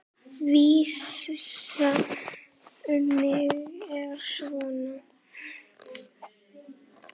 Vísan um mig er svona